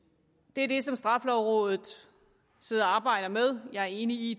det er det som straffelovrådet sidder og arbejder med jeg er enig i